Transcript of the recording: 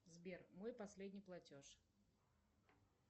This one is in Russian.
сбер мой последний платеж